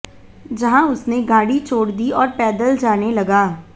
जहां उसने गाड़ी छोड़ दी और पैदल जाने लगा